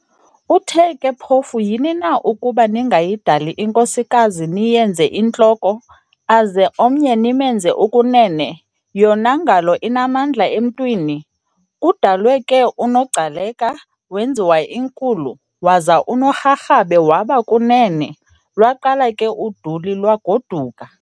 Uthe ke phofu yhini na ukuba ningayidali inkosikazi niyenze "intloko" aze omnye nimenze "ukunene" yona ngalo inamandla emntwini? Kudalwe ke unoGcaleka wenziwa inkulu, Waza unoRharhabe waba kunene, lwaqala ke uduli lwagoduka.